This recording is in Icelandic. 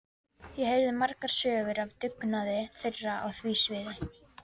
Ég heyrði margar sögur af dugnaði þeirra á því sviði.